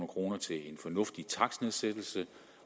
kroner til en fornuftig takstnedsættelse